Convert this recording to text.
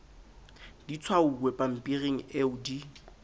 di tshwauwe pampiring eo di